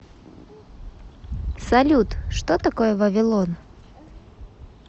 салют что такое вавилон